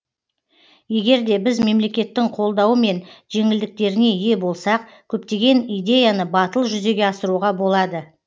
егер де біз мемлекеттің қолдауы мен жеңілдіктеріне ие болсақ көптеген идеяны батыл жүзеге асыруға болады